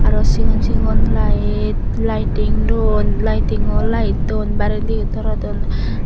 aro sigon sigon light lighting dun lightingo light dun barey deyon torodon.